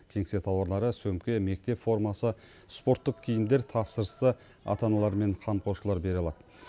кеңсе тауарлары сөмке мектеп формасы спорттық киімдер тапсырысты ата аналар мен қамқоршылар бере алады